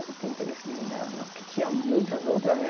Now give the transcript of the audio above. Eu não tinha interesse nenhum nela não, porque tinha muitas outras, né?